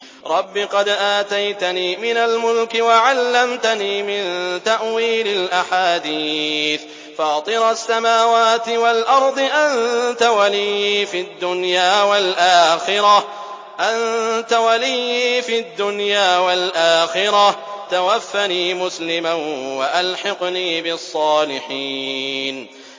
۞ رَبِّ قَدْ آتَيْتَنِي مِنَ الْمُلْكِ وَعَلَّمْتَنِي مِن تَأْوِيلِ الْأَحَادِيثِ ۚ فَاطِرَ السَّمَاوَاتِ وَالْأَرْضِ أَنتَ وَلِيِّي فِي الدُّنْيَا وَالْآخِرَةِ ۖ تَوَفَّنِي مُسْلِمًا وَأَلْحِقْنِي بِالصَّالِحِينَ